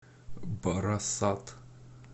барасат